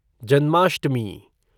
Janmashtami